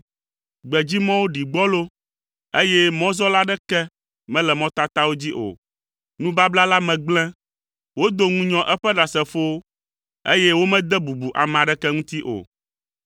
Gbedzimɔwo ɖi gbɔlo, eye mɔzɔla aɖeke mele mɔtatawo dzi o. Nubabla la me gblẽ. Wodo ŋunyɔ eƒe ɖasefowo, eye womede bubu ame aɖeke ŋuti o.